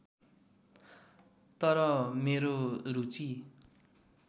तर मेरो रुचि